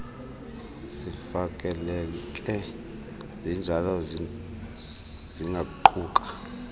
zifaneleke zinjalo zingaquka